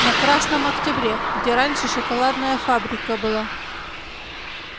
на красном октябре где раньше шоколадная фабрика была